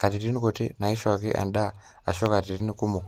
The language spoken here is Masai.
katitin kuti naaishooki endaa aashu katitin kumok